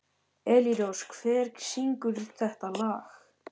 Elírós, hver syngur þetta lag?